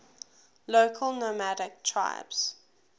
local nomadic tribes